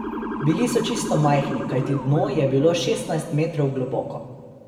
Bili so čisto majhni, kajti dno je bilo šestnajst metrov globoko.